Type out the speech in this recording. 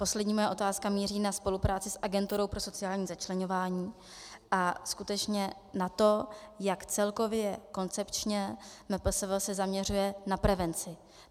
Poslední moje otázka míří na spolupráci s Agenturou pro sociální začleňování a skutečně na to, jak celkově koncepčně MPSV se zaměřuje na prevenci.